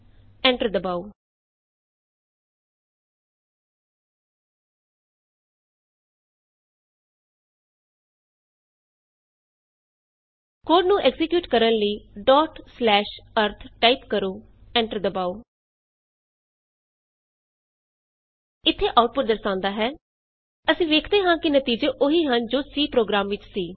enter ਦਬਾਉ code ਨੂੰ execute ਕਰਨ ਲਈ ਅਰਿਥ ਟਾਈਪ ਕਰੋ ਐਂਟਰ ਦਬਾਉ ਇਥੇ ਆਉਟਪੁਟ ਦਰਸਾਉਂਦਾ ਹੈ160 ਅਸੀਂ ਵੇਖਦੇ ਹਾਂ ਕਿ ਨਤੀਜੇ ਉਹੀ ਹਨ ਜੋ C ਪ੍ਰੋਗਰਾਮ ਵਿਚ ਸੀ